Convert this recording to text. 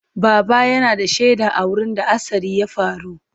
Baba yana da shaida a wurin da hatsarin ya faru.